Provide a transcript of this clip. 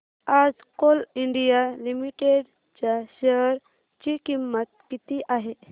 आज coal India limited च्या share ची किंमत किती आहे